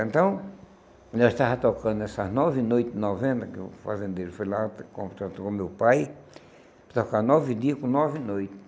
Então, nós estava tocando essas nove noites, novena, que o fazendeiro foi lá, contratou o meu pai, para tocar nove dias com nove noites.